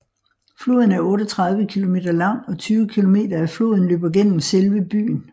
Floden er 38 km lang og 20 km af floden løber gennem selve byen